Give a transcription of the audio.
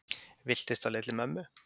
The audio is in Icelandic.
Villtist á leið til mömmu